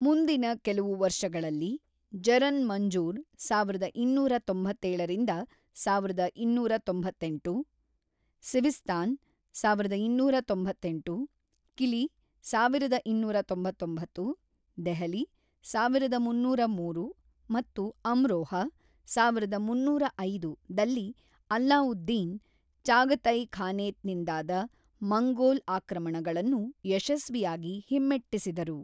ಮುಂದಿನ ಕೆಲವು ವರ್ಷಗಳಲ್ಲಿ ಜರನ್-ಮಂಜುರ್ (೧೨೯೭-೧೨೯೮ ), ಸಿವಿಸ್ತಾನ್ (೧೨೯೮), ಕಿಲಿ (೧೨೯೯), ದೆಹಲಿ (೧೩೦೩), ಮತ್ತು ಅಮ್ರೋಹಾ (೧೩೦೫) ದಲ್ಲಿ ಅಲ್ಲಾವುದ್ದೀನ್, ಚಾಗತೈ ಖಾನೇತ್ ನಿಂದಾದ ಮಂಗೋಲ್ ಆಕ್ರಮಣಗಳನ್ನು ಯಶಸ್ವಿಯಾಗಿ ಹಿಮ್ಮೆಟ್ಟಿಸಿದರು.